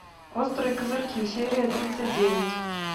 острые козырьки серия тридцать девять